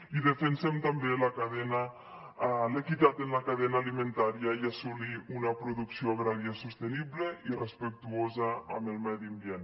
i defensem també l’equitat en la cadena alimentària i assolir una producció agrària sostenible i respectuosa amb el medi ambient